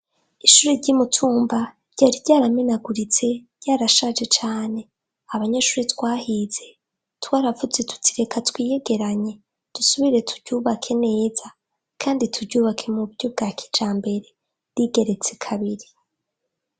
Ishuri ry'umutumba rya ryaramenaguritse ryarashaje cane abanyashure twahize twaravuze tutireka twiyegeranye dusubire turyubake neza, kandi turyubake mu buryo bwa kija mbere rigeretse kabiri.